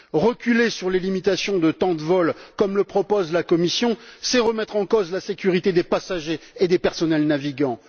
Reculer sur les limitations de temps de vol, comme le propose la Commission, c'est remettre en cause la sécurité des passagers et des personnels navigants.